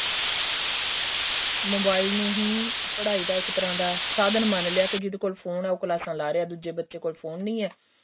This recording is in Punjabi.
mobile ਨੂੰ ਹੀ ਪੜਾਈ ਦਾ ਇੱਕ ਤਰ੍ਹਾਂ ਦਾ ਸਾਧਨ ਮੰਨ ਲਿਆ ਕੇ ਜਿਹਦੇ ਕੋਲ ਫੋਨ ਏ ਉਹ ਕਲਾਸਾਂ ਲਾ ਰਿਹਾਂ ਦੂਜੇ ਬੱਚੇ ਕੋਲ ਫੋਨ ਨਹੀਂ ਏ